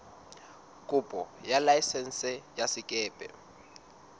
kopo ya laesense ya sekepe